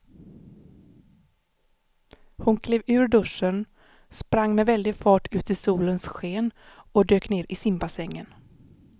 Hon klev ur duschen, sprang med väldig fart ut i solens sken och dök ner i simbassängen.